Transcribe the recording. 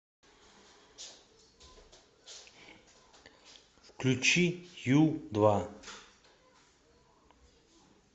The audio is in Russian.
включи ю два